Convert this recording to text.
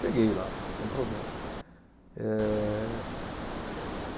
Cheguei lá, sem problema. Eh